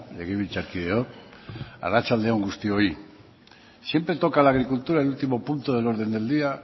legebiltzarkideok arratsalde on guztioi siempre toca la agricultura el último punto del orden del día